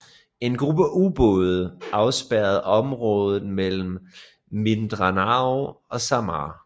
En gruppe ubåde afspærrede området mellem Mindanao og Samar